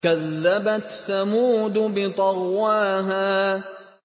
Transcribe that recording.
كَذَّبَتْ ثَمُودُ بِطَغْوَاهَا